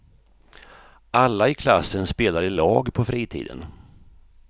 Alla i klassen spelar i lag på fritiden.